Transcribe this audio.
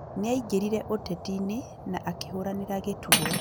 Nĩaingĩrire ũteti-ini na akĩhũranĩra gĩturwa